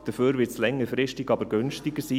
Dafür wird es längerfristig aber günstiger sein.